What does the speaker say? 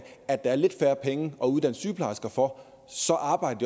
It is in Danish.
at der er lidt færre penge at uddanne sygeplejersker for så arbejder